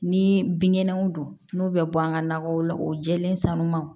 Ni binkɛnɛw don n'u bɛ bɔ an ka nakɔw la o jɛlen sanumanw